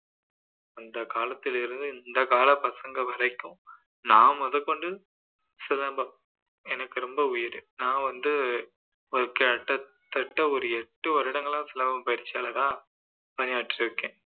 அந்த காலத்துலேருந்து இந்த காலத்து பசங்க வரைக்கும் நான் முதற்கொண்டு சிலம்பம் எனக்கு ரொம்ப உயிர் நான் வந்து ஒரு கிட்டத்தட்ட எட்டு வருடங்களா சிலம்ப பயிற்சியாளரா பணியாற்றி இருக்கிறேன்